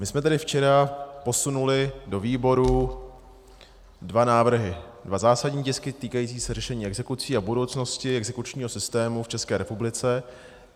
My jsme tady včera posunuli do výboru dva návrhy, dva zásadní tisky týkající se řešení exekucí a budoucnosti exekučního systému v České republice.